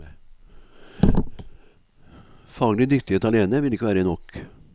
Faglig dyktighet alene vil ikke være nok.